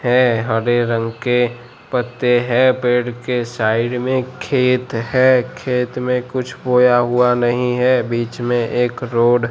हैं हरे रंग के पत्ते हैं पेड़ के साइड में खेत हैं खेत में कुछ बोया हुवा नहीं हैं बीच में एक रोड --